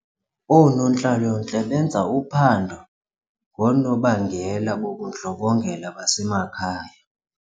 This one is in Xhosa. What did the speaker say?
Oonontlalontle benza uphando ngoonobangela bobundlobongela basekhaya.